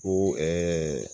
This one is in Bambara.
Ko ɛɛ